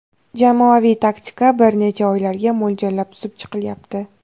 Jamoaviy taktika bir necha oylarga mo‘ljallab tuzib chiqilyapti.